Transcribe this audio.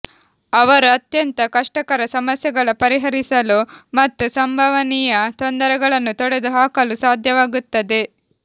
ಅವರು ಅತ್ಯಂತ ಕಷ್ಟಕರ ಸಮಸ್ಯೆಗಳ ಪರಿಹರಿಸಲು ಮತ್ತು ಸಂಭವನೀಯ ತೊಂದರೆಗಳನ್ನು ತೊಡೆದುಹಾಕಲು ಸಾಧ್ಯವಾಗುತ್ತದೆ